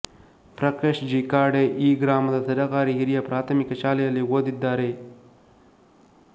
ಪ್ರಕಾಶ G Khade ಈ ಗ್ರಾಮದ ಸರಕಾರಿ ಹಿರಿಯ ಪ್ರಾಥಮಿಕ ಶಾಲೆಯಲ್ಲಿ ಓದಿದ್ದಾರೆ